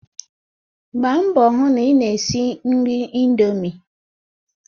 Gbaa mbọ hụ na ị na-esi nri indomi!